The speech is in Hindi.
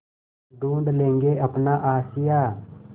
ढूँढ लेंगे अपना आशियाँ